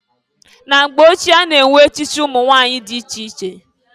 Na mgbe ochie a na-enwe echichi umunwanyị dị iche iche.